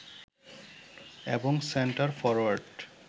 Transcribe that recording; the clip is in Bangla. এবং সেন্টার ফরোয়ার্ড